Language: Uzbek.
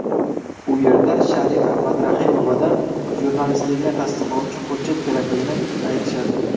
U yerda Sharifa Madrahimovadan jurnalistligini tasdiqlovchi hujjat kerakligini aytishadi.